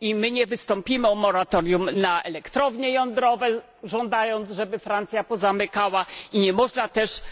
I my nie wystąpimy o moratorium na elektrownie jądrowe, żądając, żeby Francja je pozamykała, i nie można też